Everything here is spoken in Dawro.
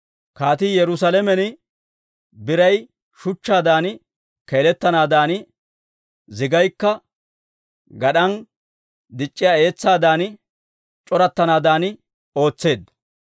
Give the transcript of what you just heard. Kaatii Yerusaalamen biray shuchchaadan keeletanaadan, zigaykka gad'an dic'c'iyaa etsaadan c'orattanaadan ootseedda.